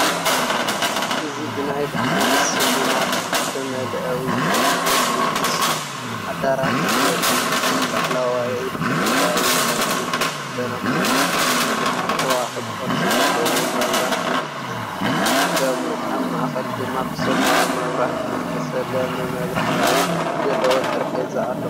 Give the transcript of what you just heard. እዚ ብናይ በዓል ስልማት ዝተመልአ ውቁብ ናይ ድግስ ኣዳራሽ የርኢ። እቲ ላዕላዋይብሕብራዊ ጨርቂ ዝተሸፈነ ኮይኑ ብዙሓት ኮኾብ ቅርጺ ዘለዎም መብራህቲ ይጥቀሙ። ኣብ ማእከል ድማ ብሰማያዊ መብራህቲ ዝተሰለመ መብራህቲ ዘለዎ ጠረጴዛ ኣሎ።